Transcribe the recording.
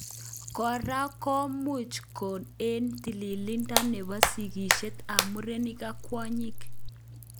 Kora komuch kong em tililido nebo sigishet eng murenik ak kwonyik.